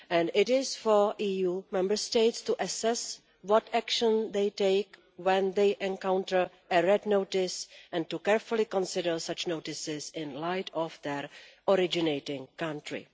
It is for EU Member States to assess what action they take when they encounter a Red Notice and to carefully consider such notices in light of their originating country.